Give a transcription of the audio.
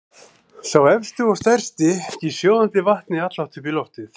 Sá efsti og stærsti gýs sjóðandi vatni allhátt upp í loftið.